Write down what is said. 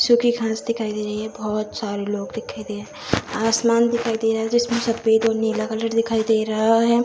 जो की घांस दिखाई दे रही है बहुत सारे लोग दिखाई दे आसमान दिखाई दे रहा है जिसमें सफ़ेद और नीला कलर दिखाई दे रहा है।